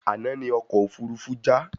Àna ní ọkọ òfurufú já